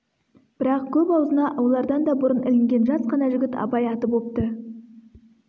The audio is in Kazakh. бірақ көп аузына олардан да бұрын ілінген жас қана жігіт абай аты бопты